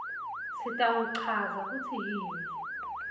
sitawuchaza kutsi yini